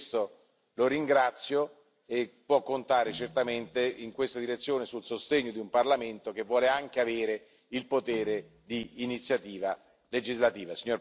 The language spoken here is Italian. Per questo lo ringrazio e può contare certamente, in questa direzione, sul sostegno di un Parlamento che vuole anche avere il potere di iniziativa legislativa.